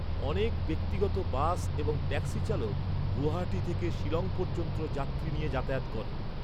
অনেক ব্যক্তিগত বাস এবং ট্যাক্সি চালক গুয়াহাটি থেকে শিলং পর্যন্ত যাত্রী নিয়ে যাতায়াত করে।